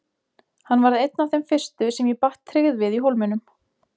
Hann varð einn af þeim fyrstu sem ég batt tryggð við í Hólminum.